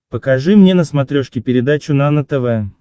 покажи мне на смотрешке передачу нано тв